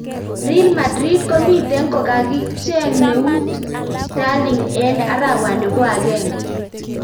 Real madrid komiteng kokaching neut sterling eng arawani po agenge.